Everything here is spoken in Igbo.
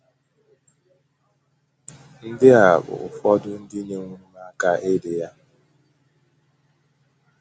Ndị a bụ ụfọdụ ndị nyewooro m aka idi ya: